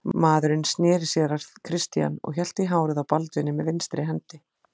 Maðurinn sneri sér að Christian og hélt í hárið á Baldvini með vinstri hendi.